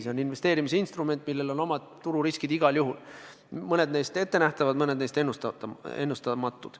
See on investeerimisinstrument, millel on omad tururiskid igal juhul – mõned neist ettenähtavad, mõned neist ennustamatud.